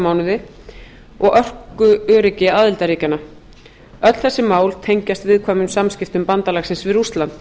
mánuði og orkuöryggi aðildarríkjanna öll þessi mál tengjast viðkvæmum samskiptum bandalagsins við rússland